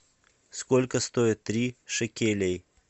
сколько стоит три шекелей